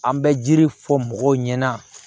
An bɛ jiri fɔ mɔgɔw ɲɛ na